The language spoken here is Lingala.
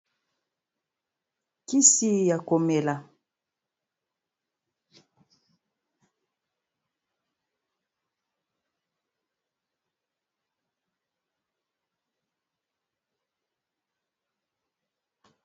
Kisi ya komela, kisi ya komela, kisi ya komela.